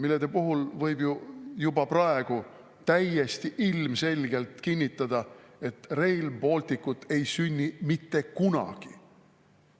Juba praegu võib ju täiesti ilmselgelt kinnitada, et Rail Balticut ei sünni mitte kunagi.